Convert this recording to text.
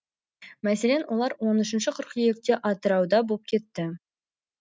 мәселен олар он үшінші қыркүйекте атырауда боп кепті